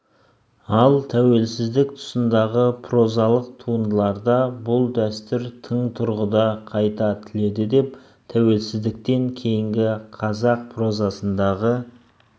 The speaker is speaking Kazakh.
ал тәуелсіздік тұсындағы прозалық туындыларда бұл дәстүр тың тұрғыда қайта түледі деп тәуелсіздіктен кейінгі қазақ прозасындағы